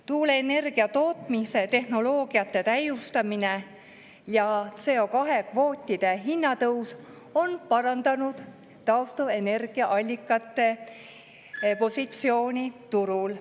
Tuuleenergia tootmise tehnoloogia täiustamine ja CO2-kvootide hinna tõus on parandanud taastuvenergiaallikate positsiooni turul.